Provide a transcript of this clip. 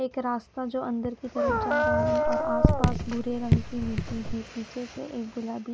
एक रास्ता जो अंदर की तरफ जा रहा है और आस पास भूरे रंग की मिट्ठी है पीछे से गुलाबी--